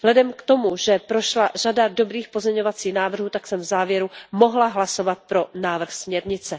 Vzhledem k tomu, že prošla řada dobrých pozměňovacích návrhů, tak jsem v závěru mohla hlasovat pro návrh směrnice.